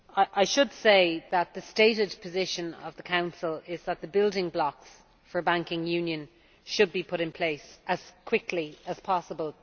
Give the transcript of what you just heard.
I should say that the stated position of the Council is that the building blocks for banking union should be put in place as quickly as possible.